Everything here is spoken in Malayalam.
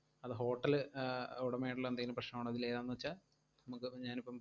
അതോ hotel ല് ആഹ് ഉടമയായിട്ടുള്ള എന്തെങ്കിലും പ്രശ്നവുണ്ടെങ്കില് ഏതാന്നുവെച്ചാൽ നമ്മക്കിപ്പം ഞാനിപ്പം